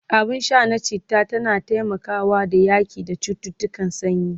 abun Sha na chitta tana taimakawa da yaƙi da cuttutukan sanyi